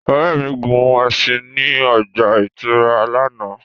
Ore mi gun ẹṣin ni o ọgba-ìturá làná.